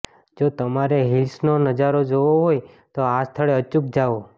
જો તમારે હિલ્સનો નજારો જોવો હોય તો આ સ્થળે અચૂક જાઓ